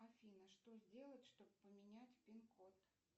афина что сделать чтобы поменять пин код